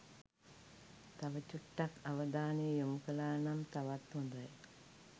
තව චුට්ටක් අවධානය යොමු කලා නම් තවත් හොඳයි